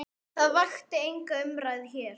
Það vakti enga umræðu hér.